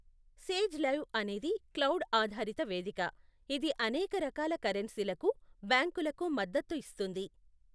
Sage Live అనేది cloud ఆధారిత వేదిక, ఇది అనేక రకాల కరెన్సీలకు, బ్యాంకులకు మద్దతు ఇస్తుంది.